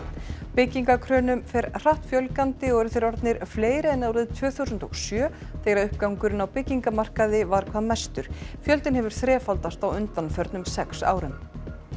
byggingarkrönum fer hratt fjölgandi og eru þeir orðnir fleiri en árið tvö þúsund og sjö þegar uppgangurinn á byggingamarkaði var hvað mestur fjöldinn hefur þrefaldast á undanförnum sex árum